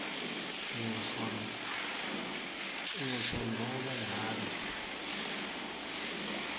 ngisho nobe ngabe